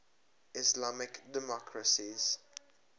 islamic democracies